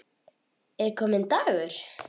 Er kominn dagur?